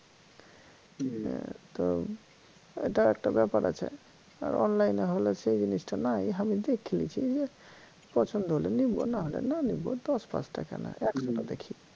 তো এটা একটা ব্যাপার আছে আহ online এ হলে সেই জিনিস টা নাই আমি দেখতে পছন্দ হলে নিবো না হলে না নিব দশ পাঁচটা কেনো একশটা দেখি